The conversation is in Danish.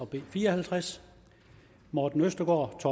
b fire og halvtreds morten østergaard